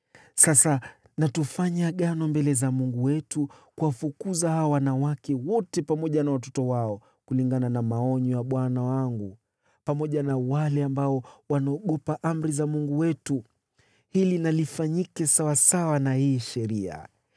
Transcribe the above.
Sasa na tufanye agano mbele za Mungu wetu kuwafukuza hawa wanawake wote pamoja na watoto wao, kulingana na maonyo ya bwana wangu pamoja na wale ambao wanaogopa amri za Mungu wetu. Hili na lifanyike sawasawa na hii Sheria.